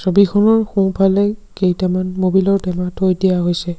ছবিখনৰ সোঁ ফালে কেইটমান মবিল ৰ টেমা থৈ দিয়া হৈছে।